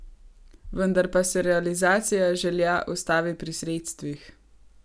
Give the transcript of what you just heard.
Vendar pa se realizacija želja ustavi pri sredstvih.